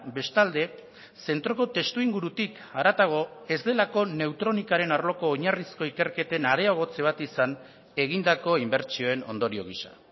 bestalde zentroko testuingurutik haratago ez delako neutronikaren arloko oinarrizko ikerketen areagotze bat izan egindako inbertsioen ondorio gisa